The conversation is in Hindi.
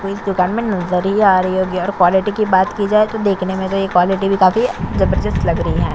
आप को इस दुकान में नज़र ही आ रही होगी और क्वालिटी की बात की जाए तो देखने में क्वालिटी भी काफी है जबरदस्त लग रही है।